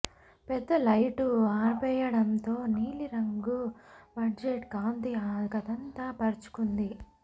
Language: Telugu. పెద్ద లైటు ఆర్పెయ్యటంతో నీలి రంగు బెడ్లైట్ కాంతి ఆ గదంతా పరచుకుంది